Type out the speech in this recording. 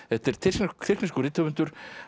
þetta er tyrkneskur tyrkneskur rithöfundur